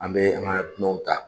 An bɛ an ka dunanw ta